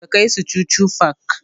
Ka kai su chuchu park!